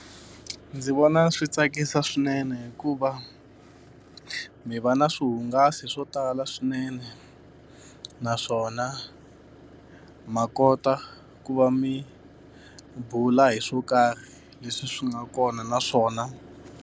Ndzi vona swi tsakisa swinene hikuva mi va na swihungasi swo tala swinene. Naswona ma kota ku va mi bula hi swo karhi leswi swi nga kona, na swona.